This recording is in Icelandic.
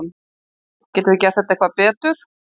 Getum við gert þetta eitthvað betur?